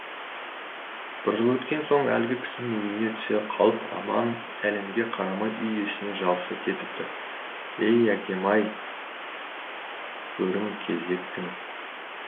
бір жыл өткен соң әлгі кісінің үйіне түсе қалып аман сәлемге қарамай үй иесіне жабыса кетіпті ей әкем ай көрім кезіктің